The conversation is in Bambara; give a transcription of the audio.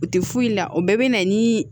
U tɛ foyi la o bɛɛ bɛ na ni